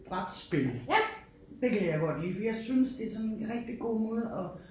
Brætspil det kan jeg godt lide for jeg synes det sådan en rigtig god måde at